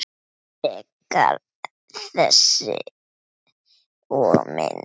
Frekara lesefni og mynd